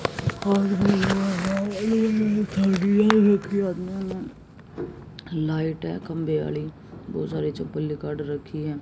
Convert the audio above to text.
Light है खंभे वाली बहुत सारे चप्पल निकाल रखी है।